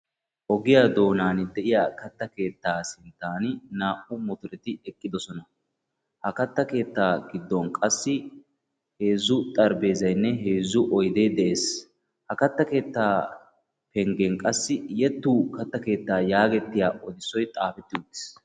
Ogiy doonaani de'iya katta keettaa sinttan naa"u mottoreti eqqidosona. Ha kattaa keettaa giddon qassi heezzu xarphpheezaynne heezzu oydee de'ees. Ha katta keettaa penggen qassi Yetuu katta keettaa yaagettiyaa oosoy xaafeti uttiis.